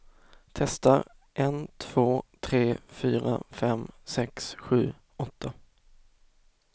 Testar en två tre fyra fem sex sju åtta.